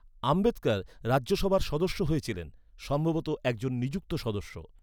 আম্বেদকর রাজ্যসভার সদস্য হয়েছিলেন, সম্ভবত একজন নিযুক্ত সদস্য।